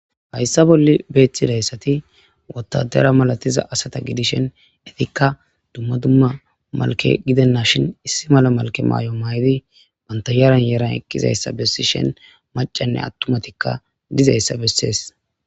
Hayissa boll bettizayissati wotadara malatiza asata gidishin etikka dumma dumma malke gidenashshin issi mala malke mayo mayidi banta yaran yaran eqidayissa besseshin macayinne atumatikka dizayissa besses